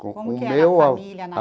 Como que era a família na?